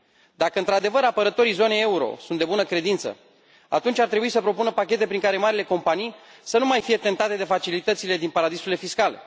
Dacă, într adevăr, apărătorii zonei euro sunt de bună credință, atunci ar trebui să propună pachete prin care marile companii să nu mai fie tentate de facilitățile din paradisurile fiscale.